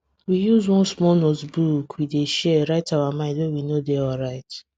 we use one small notebook we dey share write our mind when we no dey alright